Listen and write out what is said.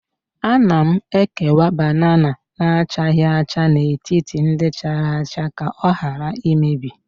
Ana m ekewa banana na-achaghị acha n'etiti ndị chara acha ka ọ ghara imebi